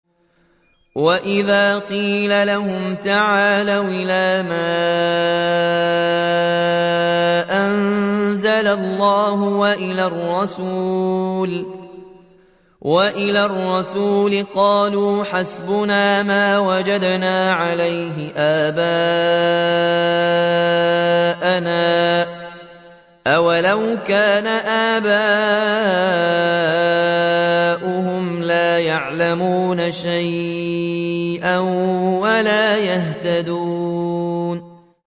وَإِذَا قِيلَ لَهُمْ تَعَالَوْا إِلَىٰ مَا أَنزَلَ اللَّهُ وَإِلَى الرَّسُولِ قَالُوا حَسْبُنَا مَا وَجَدْنَا عَلَيْهِ آبَاءَنَا ۚ أَوَلَوْ كَانَ آبَاؤُهُمْ لَا يَعْلَمُونَ شَيْئًا وَلَا يَهْتَدُونَ